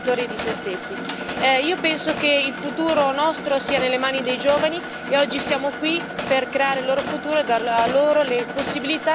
Io penso che il nostro futuro sia nelle mani dei giovani e oggi siamo qui per creare il loro futuro e dar loro le possibilità che, magari, noi non abbiamo avuto oggi.